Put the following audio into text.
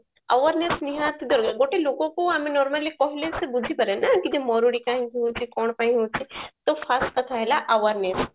awareness ନିହାତି ଗୋଟେ ଲୋକକୁ ଆମେ normally କହିଲେ ସେ ବୁଝି ପାରେନି କି ଯେ ମରୁଡି କାହିଁକି ହଉଛି କଣ ପାଇଁ ହଉଛି ତ first କଥା ହେଲା awareness